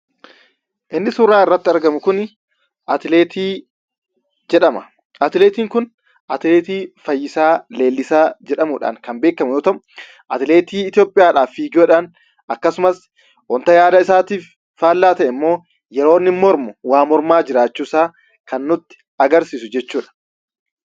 Inni suuraa irratti argamu kun atileetii jedhama. Atileetiin kun atileetii Fayyisaa Leellisaa jedhamuudhaan kan beekamu yoo ta'u, atileetii Itoophiyaadhaaf fiiguudhaan akkasumas wanta yaada isaatiif faallaa ta'emmoo yeroo inni mormu waa mormaa jiraachuusaa nutti agarsiisu jechuudha.